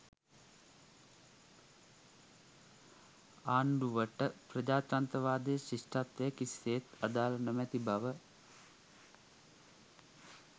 ආණ්ඩුවට ප්‍රජාතන්ත්‍රවාදය ශිෂ්ටත්වය කිසිසේත්ම අදාළ නොමැති බව